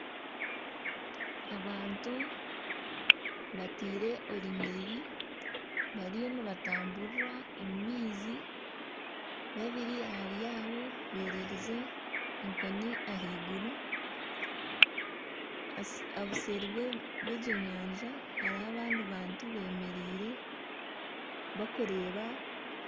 Abantu bataire orunyiriri bariyo nibatamburira omu maizi babiri ahari abo bererize enkoni ahaiguru obuseeri bw'egyo nyanja hariho abandi bantu bemereire bakubareeba.